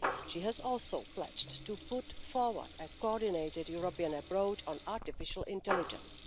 She has also pledged to put forward a coordinated European approach on artificial intelligence.